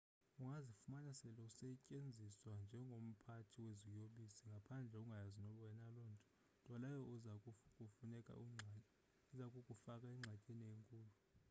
ungazifumana sele usetyenziswa njengomphathi weziyobisi ngaphandle ungayazi wena lonto nto leyo eza kukufaka engxakini enkulu